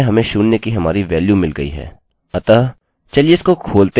अतः हमें हमारी फाइल मिल गयी और उसमें हमें शून्य की हमारी वेल्यू मिल गयी है